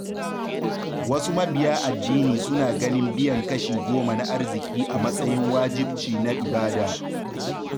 Wasu mabiya addini suna ganin biyan kashi goma na arziki a matsayin wajibci na ibada.